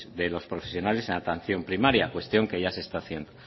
de los profesionales en la atención primaria cuestión que ya se está haciendo